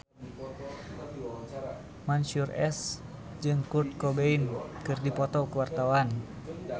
Mansyur S jeung Kurt Cobain keur dipoto ku wartawan